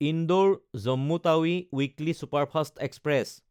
ইন্দোৰ–জম্মু Tawi weekly superfast express